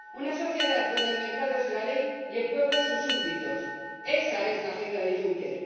Una sociedad en la que el mercado es la ley y el pueblo, sus súbditos esa es la agenda de Juncker.